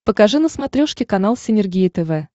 покажи на смотрешке канал синергия тв